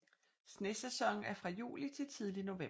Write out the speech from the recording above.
Snesæsonen er fra juli til tidlig november